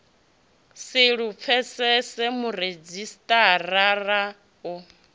si lu pfesese muredzhisitarara u